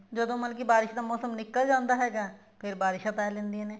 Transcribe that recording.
ਜਦੋਂ ਮਤਲਬ ਬਾਰਿਸ਼ ਦਾ ਮੋਸਮ ਨਿੱਕਲ ਜਾਂਦਾ ਹੈਗਾ ਫੇਰ ਬਾਰਿਸ਼ਾਂ ਪੈ ਜਾਂਦੀਆਂ ਨੇ